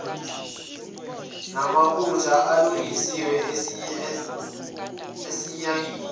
namaphutha alungiswe esinyangeni